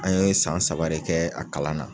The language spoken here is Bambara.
An ye san saba de kɛ a kalan na.